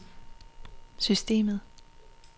systemet